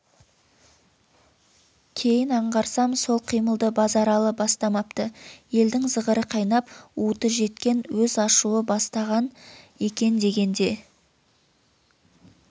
кейін аңғарсам сол қимылды базаралы бастамапты елдің зығыры қайнап уыты жеткен өз ашуы бастаған екен дегенде